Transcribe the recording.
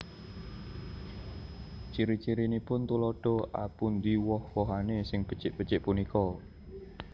Ciri cirinipun Tuladha A Pundi woh wohané sing becik becik punika